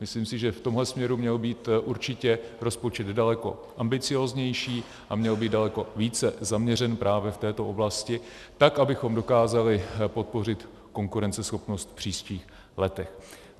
Myslím si, že v tomhle směru měl být určitě rozpočet daleko ambicióznější a měl být daleko více zaměřen právě v této oblasti tak, abychom dokázali podpořit konkurenceschopnost v příštích letech.